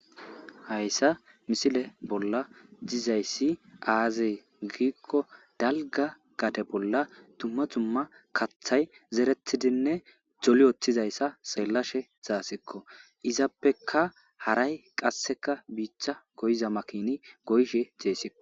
Hayssa misile bolla dizayssi aazee giikko dalga gate bolla tumma tumma kathay zeretidinne doli oththizayssa seellashe zaasikko izappeka haray qasseka biicha goyza makini goyshe jeessiko.